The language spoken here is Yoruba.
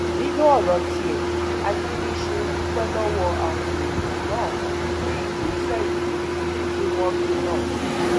nínú ọrọ tiẹ akiníṣùn dúpẹ lọwọ àwọn èèyàn náà fún ìgbésẹ ìwúrí tí wọn gbé náà